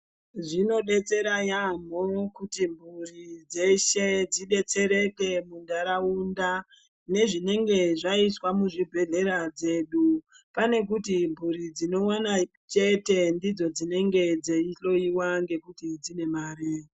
Zvinodetsera yambo kuti mhuri dzeshe dzidestereke mundaraunda nezvinenge zvaitwa muzvibhedhlera zvedu pane kuita mburi dzinowana chete ndidzo dzinenge dzeida kuhloiwa ngokuti dzine mare.